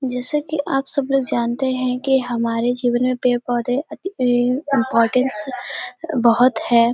जैसे कि आप सब लोग जानते हैं कि हमारे जीवन मे पेड़ पौधें अति इम्पोर्टेंस बहोत है।